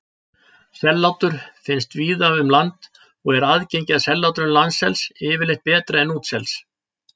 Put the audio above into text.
Sellátur finnast víða um land og er aðgengi að sellátrum landsels yfirleitt betra en útsels.